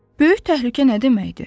Böyük təhlükə nə deməkdir?